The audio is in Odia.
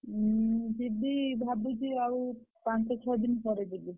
ମୁଁ ଯିବି ଭାବୁଛି ଆଉ ପାଞ୍ଚ ଛଅ ଦିନ ପରେ ଯିବି।